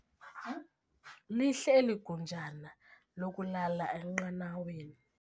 Lihle eli gunjana lokulala enqanaweni.